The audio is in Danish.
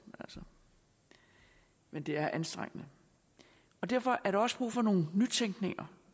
men det er anstrengende derfor er der også brug for nogle nytænkninger